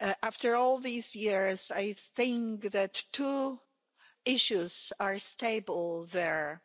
After all these years, I think that two issues are stable there.